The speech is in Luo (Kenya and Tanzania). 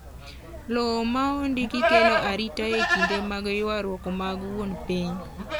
Lowo ma ondiki kelo arita e kinde mag ywaruok mag wuon piny.